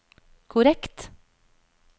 korrekt